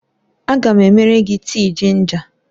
Aga m emere gị tii jinja